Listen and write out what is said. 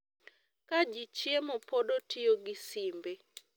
Ka ji chiemo pod otiyo gi simbe